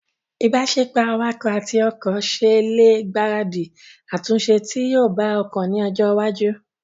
ìbáṣepọ̀ awakọ̀ àti ọkọ̀ ṣe ẹ lè gbaradì àtúnṣe tí yóò bá ọkọ̀ ní ọjọ́ iwájú